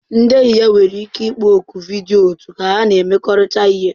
Ndị enyi nwere ike ịkpọ oku vidiyo otu ka ha na-emekọrịta ihe